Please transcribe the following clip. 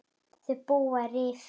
Þau búa í Rifi.